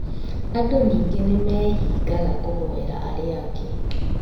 Andũ ningĩ nĩmeehingaga kũhoera arĩa angĩ